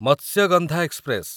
Matsyagandha express